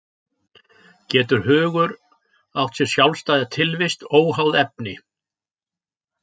Getur hugur átt sér sjálfstæða tilvist óháð efni?